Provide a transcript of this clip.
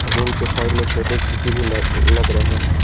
Room के side में छोटे खिड़की भी लग रहे हैं।